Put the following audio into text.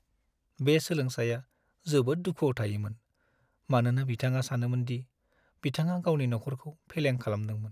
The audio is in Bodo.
बे सोलोंसाया जोबोद दुखुआव थायोमोन, मानोना बिथाङा सानोमोन दि बिथाङा गावनि नखरखौ फेलें खालामदोंमोन।